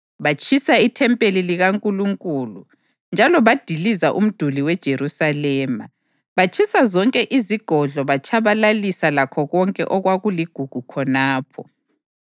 Batshisa ithempeli likaNkulunkulu njalo badiliza umduli weJerusalema; batshisa zonke izigodlo batshabalalisa lakho konke okwakuligugu khonapho.